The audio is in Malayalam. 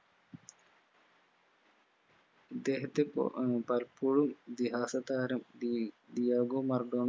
ഇദ്ദേഹത്തെ പൊ ഏർ പലപ്പോഴും ഇതിഹാസ താരം ഡീ ഡിയാഗോ മറഡോണ